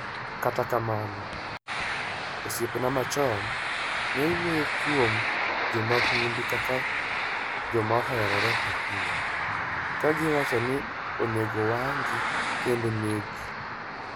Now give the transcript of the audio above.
Kata mana osiepene machon, ne wuoyo kuom jo mahundu kaka joma oherore ahinya, ka giwacho ni onego owang'gi kendo oneggi.